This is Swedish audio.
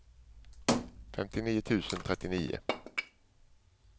femtionio tusen trettionio